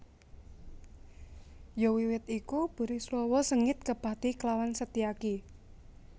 Ya wiwit iku Burisrawa sengit kepati klawan Setyaki